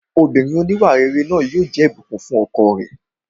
Obìnrin òníwàrere yẹn yóò jẹ́ Ìbùkún fún ọkọ rẹ̀